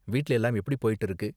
வீட்ல எல்லாம் எப்படி போய்ட்டு இருக்கு?